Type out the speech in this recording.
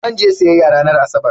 Zan je siyayya ranar Asabar.